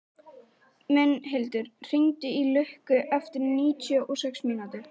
Mundhildur, hringdu í Lukku eftir níutíu og sex mínútur.